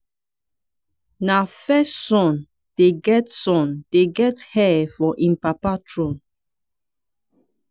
na first son dey get son dey get heir for im papa thrown.